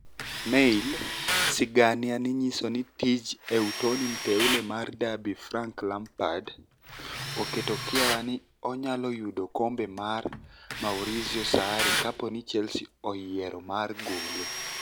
(Mail) 'sigania niyiso nii tij ni ewtoni Mteule mar Derby Franik Lampard oketo kiawa nii oniyalo yudo kombe mag Maurizio Saarri kapo nii Chelsea oyiero mar gole.